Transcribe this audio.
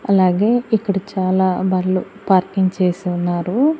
అలాగే ఇక్కడ చాలా బళ్ళు పార్కింగ్ చేసి ఉన్నారు.